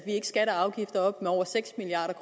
ikke skatter og afgifter op med over seks milliard